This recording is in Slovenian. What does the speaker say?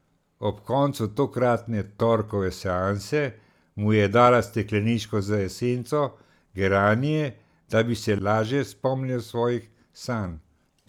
Ob koncu tokratne torkove seanse mu je dala stekleničko z esenco geranije, da bi se laže spomnil svojih sanj.